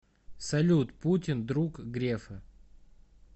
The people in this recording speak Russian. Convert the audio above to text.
салют путин друг грефа